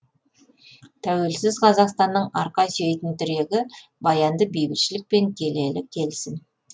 тәуелсіз қазақстанның арқа сүйейтін тірегі баянды бейбітшілік пен келелі келісім